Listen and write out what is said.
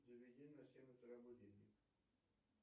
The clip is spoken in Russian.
заведи на семь утра будильник